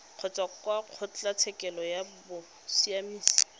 kgotsa kwa kgotlatshekelo ya bosiamisi